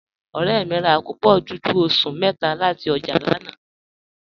Ọ̀rẹ́ mi rà àkópọ́ dúdú ọ̀ṣun métà láti ojá lànà.